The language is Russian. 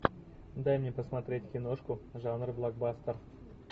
дай мне посмотреть киношку жанр блокбастер